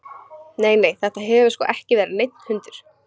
Nei, nei, þetta hefur sko ekki verið neinn hundur.